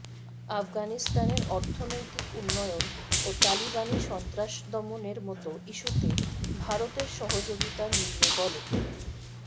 আফগানিস্তানের অর্থনৈতিক উন্নয়ন ও তালিবানি সন্ত্রাসদমনের মতো ইস্যুতে ভারতের সহযোগিতা মিলবে বলে